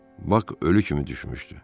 Bak ölü kimi düşmüşdü.